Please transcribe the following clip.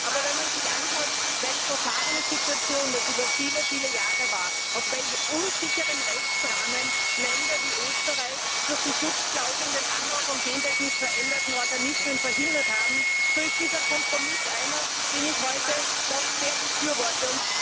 Aber wenn man sich anschaut, welch verfahrene Situation das über viele, viele Jahre war, auf welch unsicheren Rechtsrahmen Länder wie Österreich durch die Schutzklauseln den Anbau von gentechnisch veränderten Organismen verhindert haben, so ist dieser Kompromiss einer, den ich heute doch sehr befürworte.